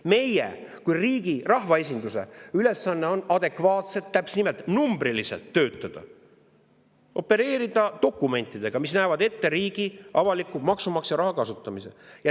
Meie kui riigi rahvaesinduse ülesanne on adekvaatselt, numbriliselt töötada, opereerida dokumentidega, mis näevad ette riigi avaliku, maksumaksja raha kasutamise.